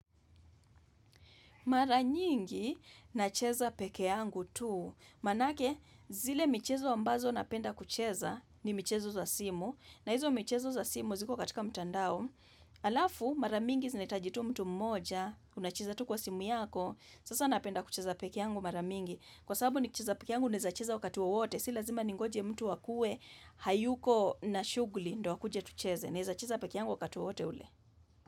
Mara nyingi, nacheza pekee yangu tu. Manake, zile michezo ambazo napenda kucheza ni michezo za simu. Na hizo michezo za simu ziko katika mtandao. Halafu, mara mingi zinahitaji tu mtu mmoja, unacheza tu kwa simu yako. Sasa napenda kucheza peke yangu mara mingi. Kwa sababu ni kicheza pekee yangu, naweza cheza wakati wowote. Si lazima ningoje mtu akue, hayuko na shughuli ndo akuje tucheze. Ne za cheza peke yangu wakatua wote ule.